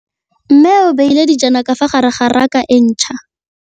Mmê o beile dijana ka fa gare ga raka e ntšha.